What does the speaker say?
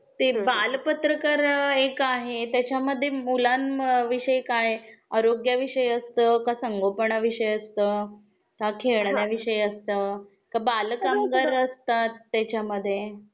ते बाल पत्रकार एक आहे त्याच्या मध्ये मुलांन विषय काय आरोग्या विषयी असत, क संगोपणा विषयी असत, का खेळण्या विषयी असत, का बालकामगारअसतात त्याच्या मध्ये